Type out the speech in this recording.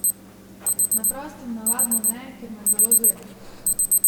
Na prostem navadno ne, ker me zelo zebe.